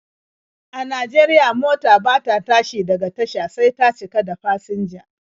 A Najeriya, mota bata tashi daga tasha sai ta cika da fasinja.